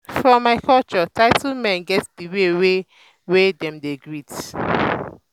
for my culture title men get the way wey the way wey dem dey greet.